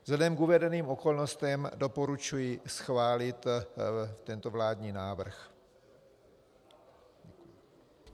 Vzhledem k uvedeným okolnostem doporučuji schválit tento vládní návrh.